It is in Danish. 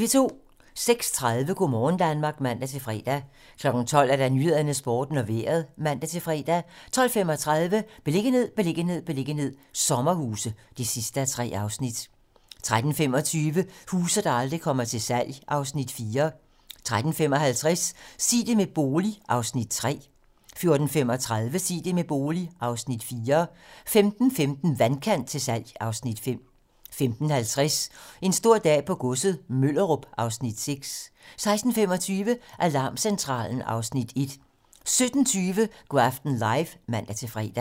06:30: Go' morgen Danmark (man-fre) 12:00: 12 Nyhederne, Sporten og Vejret (man-fre) 12:35: Beliggenhed, beliggenhed, beliggenhed - sommerhuse (3:3) 13:25: Huse, der aldrig kommer til salg (Afs. 4) 13:55: Sig det med bolig (Afs. 3) 14:35: Sig det med bolig (Afs. 4) 15:15: Vandkant til salg (Afs. 5) 15:50: En stor dag på godset - Møllerup (Afs. 6) 16:25: Alarmcentralen (Afs. 1) 17:20: Go' aften live (man-fre)